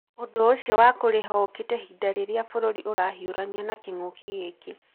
ũndũ ũcio wa kũrĩha ũũkĩte ihinda rĩrĩa bũrũri ũrahiũrania na king'uki gĩkĩ.